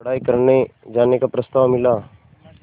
पढ़ाई करने जाने का प्रस्ताव मिला